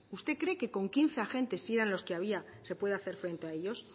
usted cree que con quince agentes si era los que había se puede hacer frente a ellos